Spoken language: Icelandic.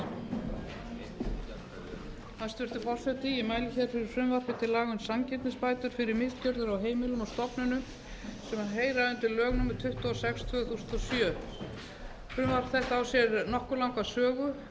um sanngirnisbætur fyrir misgjörðir á heimilum og stofnunum sem heyra undir lög númer tuttugu og sex tvö þúsund og sjö frumvarp þetta á sér nokkuð langa sögu